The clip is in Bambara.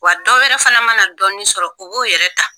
Wa dɔ yɛrɛ fana mana dɔɔnin sɔrɔ u b'o yɛrɛ ta.